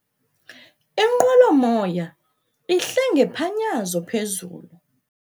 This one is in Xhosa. Inqwelomoya ihle ngephanyazo phezulu.